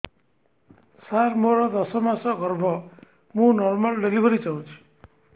ସାର ମୋର ଦଶ ମାସ ଗର୍ଭ ମୁ ନର୍ମାଲ ଡେଲିଭରୀ ଚାହୁଁଛି